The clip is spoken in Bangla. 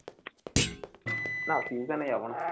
না চিন্তা নেই আমার